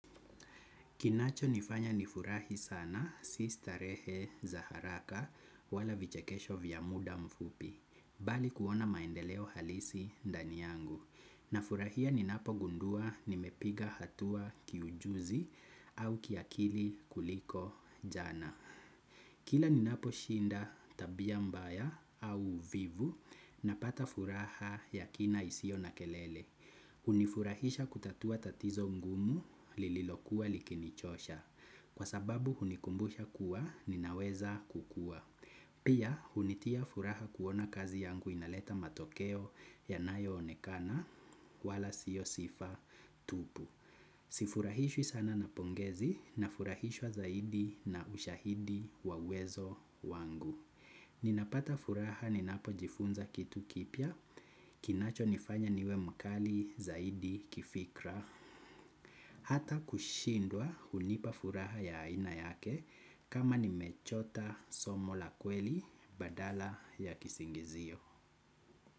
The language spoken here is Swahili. Kinacho nifanya nifurahi sana si starehe za haraka wala vichekesho vya muda mfupi, bali kuona maendeleo halisi ndani yangu. Na furahia ninapo gundua nimepiga hatua kiujuzi au kiakili kuliko jana. Kila ninapo shinda tabia mbaya au vivu na pata furaha ya kina isiyo na kelele. Hunifurahisha kutatua tatizo mgumu lililokuwa likinichosha kwa sababu hunikumbusha kuwa ninaweza kukua. Pia hunitia furaha kuona kazi yangu inaleta matokeo yanayo onekana wala siyo sifa tupu. Sifurahishwi sana na pongezi nafurahishwa zaidi na ushahidi wa uwezo wangu. Ninapata furaha ninapo jifunza kitu kipya. Kinacho nifanya niwe mkali zaidi kifikra. Hata kushindwa hunipa furaha ya aina yake. Kama nimechota somo la kweli badala ya kisingizio.